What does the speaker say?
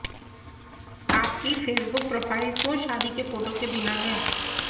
आपकी Facebook profile क्यों शादी के फोटो के बिना है